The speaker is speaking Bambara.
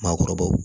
Maakɔrɔbaw